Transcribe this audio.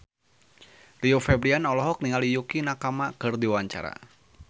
Rio Febrian olohok ningali Yukie Nakama keur diwawancara